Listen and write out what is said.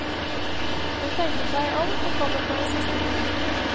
Hun tenker seg om og kommer på en siste ting.